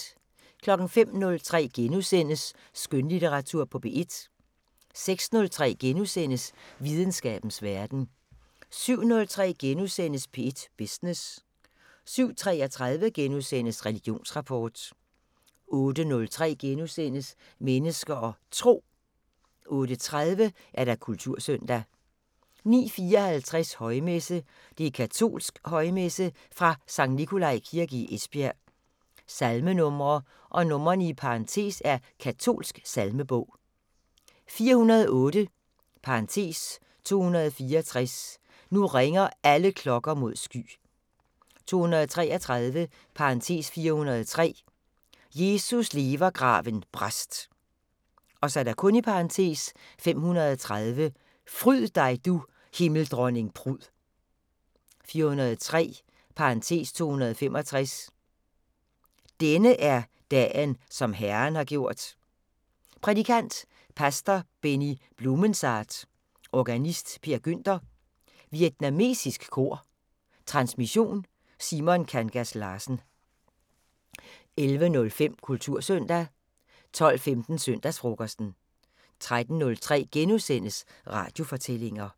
05:03: Skønlitteratur på P1 * 06:03: Videnskabens Verden * 07:03: P1 Business * 07:33: Religionsrapport * 08:03: Mennesker og Tro * 08:30: Kultursøndag 09:54: Højmesse - Katolsk højmesse fra Skt. Nikolaj kirke i Esbjerg. Salmenumre (numre i parentes er i katolsk salmebog): 408 (264): "Nu ringer alle klokker mod sky". 233 (403): "Jesus lever graven brast". (530): "Fryd dig, du Himmeldronning prud". 403 (265): "Denne er dagen, som Herren har gjort". Prædikant: pastor Benny Blumensaat. Organist: Per Günther. Vietnamesisk kor. Transmission: Simon Kangas Larsen. 11:05: Kultursøndag 12:15: Søndagsfrokosten 13:03: Radiofortællinger *